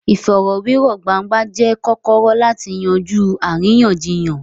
Ìfọ̀rọ̀wérọ̀ gbangba jẹ́ kọ́kọ́rọ́ láti yanjú àríyànjiyàn.